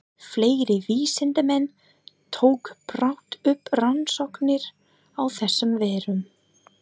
Fleiri vísindamenn tóku brátt upp rannsóknir á þessum veirum.